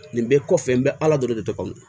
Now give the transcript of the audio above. Nin bɛɛ kɔfɛ n bɛ ala deli de